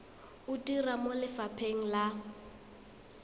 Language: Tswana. o dira mo lefapheng la